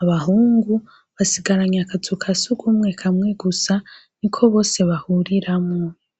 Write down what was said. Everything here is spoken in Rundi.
abahungu basigaranye akazu kasugumwe kamwe gusa, niko bose bahuriramwo .